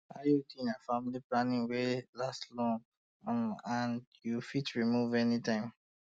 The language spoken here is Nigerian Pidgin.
iud na family planning wey um last long um and you fit remove um anytime